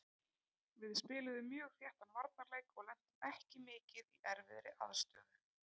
Við spiluðum mjög þéttan varnarleik og lentum ekki mikið í erfiðri aðstöðu.